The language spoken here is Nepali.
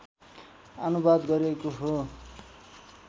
आनुवाद गरिएको हो